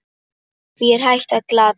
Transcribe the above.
Því er hægt að glata!